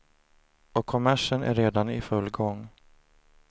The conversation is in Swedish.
Och kommersen är redan i full gång.